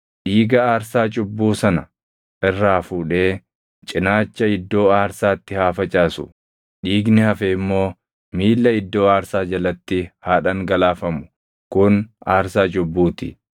Dhiiga aarsaa cubbuu sana irraa fuudhee cinaacha iddoo aarsaatti haa facaasu; dhiigni hafe immoo miilla iddoo aarsaa jalatti haa dhangalaafamu; kun aarsaa cubbuu ti.